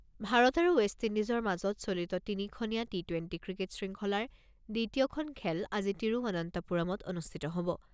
ভাৰত আৰু ৱেষ্ট ইণ্ডিজৰ মাজত চলিত তিনিখনীয়া টি টুৱেণ্টি ক্ৰিকেট শৃংখলাৰ দ্বিতীয়খন খেল আজি তিৰুৱন্তপুৰমত অনুষ্ঠিত হ'ব।